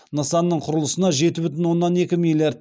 нысанның құрылысына жеті бүтін оннан екі миллиард